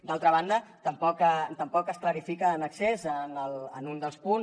d’altra banda tampoc es clarifica en excés en un dels punts